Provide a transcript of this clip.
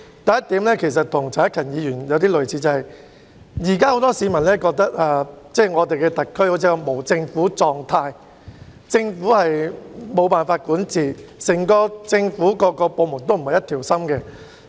第一點與陳克勤議員提出的論點相近，就是現時很多市民認為香港特區好像處於無政府狀態，政府無法管治，各個政府部門也不是一條心。